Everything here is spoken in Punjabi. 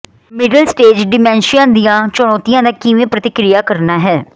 ਮਿਡਲ ਸਟੇਜ ਡਿਮੈਂਸ਼ੀਆ ਦੀਆਂ ਚੁਣੌਤੀਆਂ ਦਾ ਕਿਵੇਂ ਪ੍ਰਤੀਕਿਰਿਆ ਕਰਨਾ ਹੈ